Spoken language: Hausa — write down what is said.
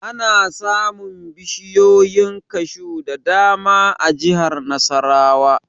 Ana samun bishiyoyin kashu da dama a jihar Nasarawa